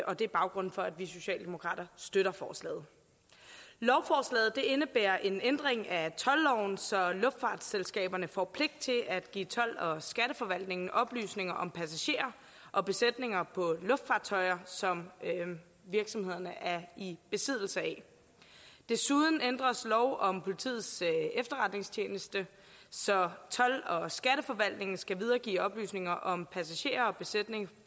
og det er baggrunden for at vi socialdemokrater støtter forslaget lovforslaget indebærer en ændring af toldloven så luftfartsselskaberne får pligt til at give told og skatteforvaltningen oplysninger om passagerer og besætning på luftfartøjer som virksomhederne er i besiddelse af desuden ændres lov om politiets efterretningstjeneste så told og skatteforvaltningen skal videregive oplysninger om passagerer og besætning